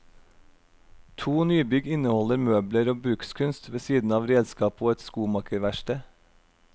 To nybygg inneholder møbler og brukskunst ved siden av redskap og et skomakerverksted.